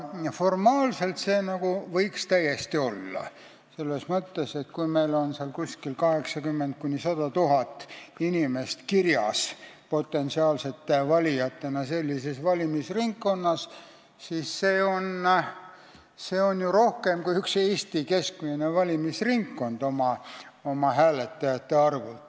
Formaalselt võttes võiks see täiesti olla: kui meil on sellises valimisringkonnas potentsiaalsete valijatena kirjas 80 000 – 100 000 inimest, siis see on ju oma hääletajate arvult rohkem kui üks Eesti keskmine valimisringkond.